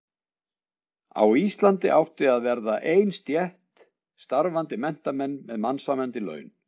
Á Íslandi átti að verða ein stétt: Starfandi menntamenn með mannsæmandi laun.